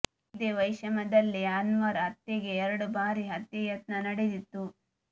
ಇದೇ ವೈಷಮ್ಯದಲ್ಲಿ ಅನ್ವರ್ ಹತ್ಯೆಗೆ ಎರಡು ಬಾರಿ ಹತ್ಯೆ ಯತ್ನ ನಡೆದಿತ್ತು